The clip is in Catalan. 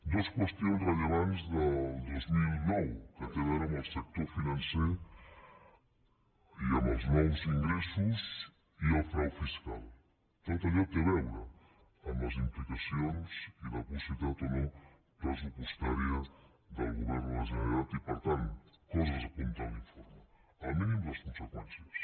dues qüestions rellevants del dos mil nou que té a veure amb el sector financer i amb els nous ingressos i el frau fiscal tot allò té a veure amb les implicacions i la possibilitat o no pressupostària del govern de la generalitat i per tant coses que apunta l’informe el mínim les conseqüències